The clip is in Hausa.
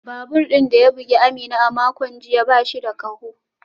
Babur din da ya bugi Amina a makon jiya ba shi da kaho